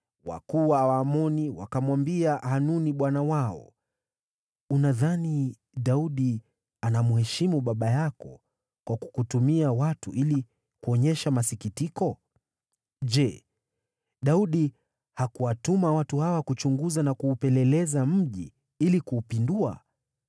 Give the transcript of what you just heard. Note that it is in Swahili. wakuu wa Waamoni wakamwambia Hanuni bwana wao, “unadhani Daudi anamheshimu baba yako kwa kukutumia watu ili kuonyesha masikitiko? Je, Daudi hakuwatuma watu hawa kuchunguza na kuupeleleza mji ili kuupindua?”